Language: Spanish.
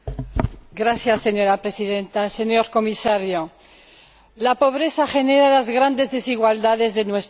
Señora Presidenta, señor Comisario, la pobreza genera las grandes desigualdades de nuestro planeta.